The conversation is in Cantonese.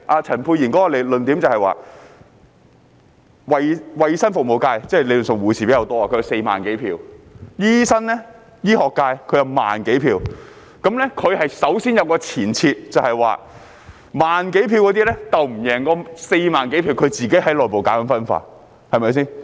陳沛然議員的論點是，衞生服務界理論上以護士人數佔多，有4萬多選票，醫生、醫學界則有1萬多選票，他首先有一個前設，便是1萬多選票不能勝過4萬多選票，他自己在內部搞分化，對嗎？